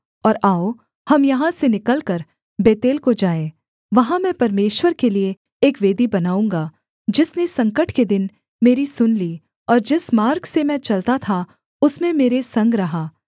और आओ हम यहाँ से निकलकर बेतेल को जाएँ वहाँ मैं परमेश्वर के लिये एक वेदी बनाऊँगा जिसने संकट के दिन मेरी सुन ली और जिस मार्ग से मैं चलता था उसमें मेरे संग रहा